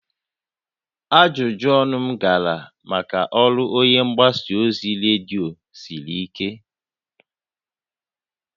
Ajụjụ ọnụ m gara maka ọrụ onye mgbasa ozi redio siri ike